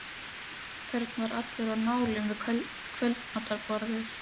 Örn var allur á nálum við kvöldmatarborðið.